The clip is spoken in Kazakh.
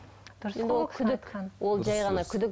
күдік ол жай ғана күдік